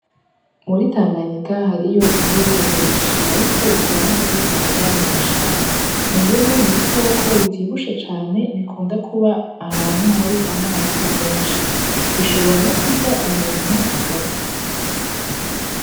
Muri tanganyika hariyo imvubu nyinshi ariko ushobora no kuzisanga mu mashamba, imvubu n'ibikoko bivyibushe cane bikunda kuba ahantu hari amazi menshi bishobora no kurya umuntu agapfa.